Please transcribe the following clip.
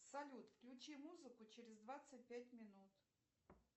салют включи музыку через двадцать пять минут